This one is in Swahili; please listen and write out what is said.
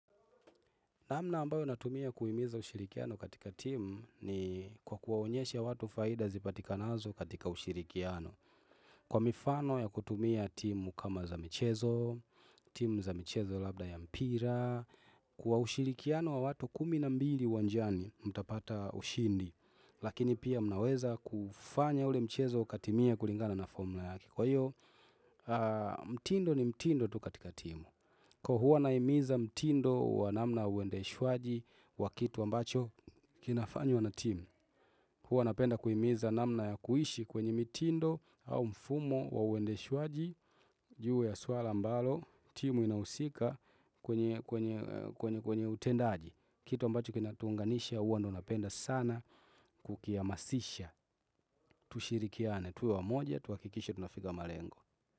Namna ambayo natumia kuimiza ushirikiano katika timu ni kwa kuwaonyesha watu faida zipatikanazo katika ushirikiano. Kwa mifano ya kutumia timu kama za mchezo, timu za mchezo labda ya mpira, kwa ushirikiano wa watu kumi na mbili uwanjani mtapata ushindi, lakini pia mnaweza kufanya ule mchezo katimia kulingana na formula yake. Kwa hiyo, mtindo ni mtindo tu katika timu. Kwa huwa nahimiza mtindo wa namna uendeshwaji wa kitu ambacho kinafanywa na team. Huwa napenda kuhimiza namna ya kuishi kwenye mitindo au mfumo wa uendeshaji. Juu ya swala mbalo, timu inausika kwenye utendaji. Kitu ambacho kinatuunganisha huwa ndo napenda sana kukiamasisha. Tushirikiane, tuwe wa moja, tuhakikishe tunafika malengo.